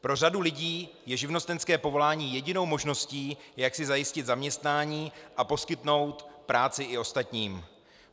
Pro řadu lidí je živnostenské povolání jedinou možností, jak si zajistit zaměstnání, a poskytnout práci i ostatním.